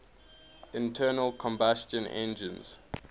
internal combustion engines